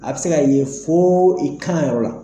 A bɛ se ka ye fo i kan yɔrɔ la.